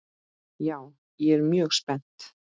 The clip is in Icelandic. Já, ég er mjög spennt.